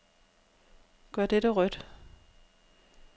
Gør dette rødt.